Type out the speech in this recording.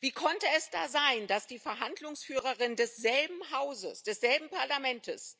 Wie konnte es da sein, dass die Verhandlungsführerin desselben Hauses, desselben Parlaments,